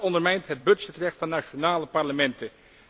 Dat ondermijnt het budgetrecht van nationale parlementen.